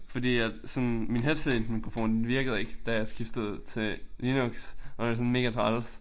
Fordi at sådan min headsetmikrofon den virkede ikke da jeg skiftede til Linux og det var sådan megatræls